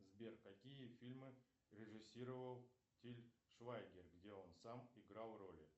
сбер какие фильмы режиссировал тиль швайгер где он сам играл роли